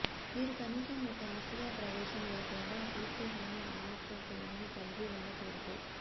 మీరు కనీసం ఒక ఆసియా ప్రవేశం లేకుండా కీర్తి హాల్ ఆఫ్ ఫేమ్ని కలిగి ఉండకూడదు